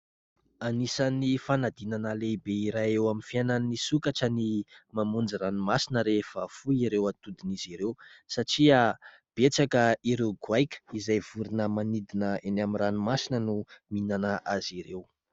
Anisan'ny fanadinana lehibe iray eo amin'ny fiainan'ny sokatra ny mamonjy ranomasina rehefa foy ireo atodin'izy ireo, satria betsaka ireo goaika izay vorona manidina eny amin'ny ranomasina no mihinana azy ireo.